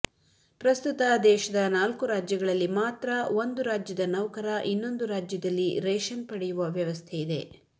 ಪ್ರಸ್ತುತ ದೇಶದ ನಾಲ್ಕು ರಾಜ್ಯಗಳಲ್ಲಿ ಮಾತ್ರ ಒಂದು ರಾಜ್ಯದ ನೌಕರ ಇನ್ನೊಂದು ರಾಜ್ಯದಲ್ಲಿ ರೇಷನ್ ಪಡೆಯುವ ವ್ಯವಸ್ಥೆಯಿದೆ